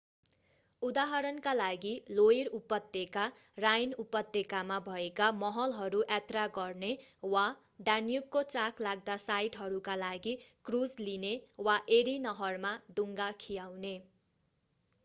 उदाहरणका लागि लोइर उपत्यका राइन उपत्यकामा भएका महलहरू यात्रा गर्ने वा डान्युबको चाखलाग्दा साइटहरूका लागि क्रुज लिने वा एरी नहरमा डुङ्गा खियाउने